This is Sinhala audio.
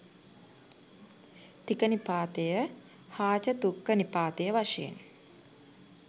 තික නිපාතය හාචතුක්ක නිපාතය වශයෙන්